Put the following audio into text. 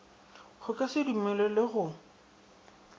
go ka se dumelelwe go